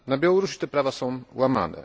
Na Białorusi te prawa są łamane.